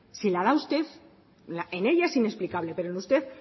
si la da usted en ella es inexplicable pero en usted